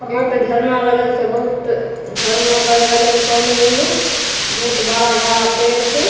एकठो झरना लागल छै बहुत झरना बह रहले हन पानी मे इमे बहुत बड़ा-बड़ा पेड़ छै।